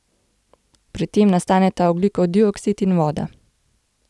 Pri tem nastaneta ogljikov dioksid in voda.